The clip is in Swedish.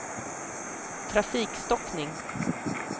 trafikstockning